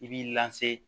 I b'i lase